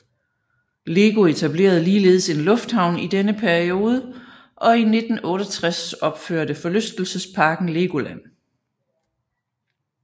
LEGO etablerede ligeledes en lufthavn i denne periode og i 1968 opførte forlystelsesparken LEGOLAND